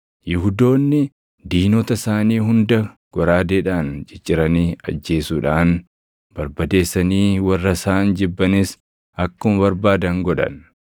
Yihuudoonni diinota isaanii hunda goraadeedhaan cicciranii ajjeesuudhaan barbadeessanii warra isaan jibbanis akkuma barbaadan godhan.